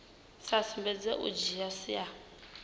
sa sumbedzi u dzhia sia